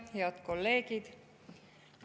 Head kolleegid!